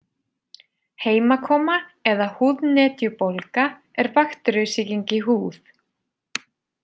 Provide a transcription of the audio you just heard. Heimakoma eða húðnetjubólga er bakteríusýking í húð.